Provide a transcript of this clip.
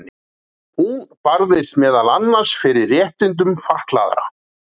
hún barðist meðal annars fyrir réttindum fatlaðra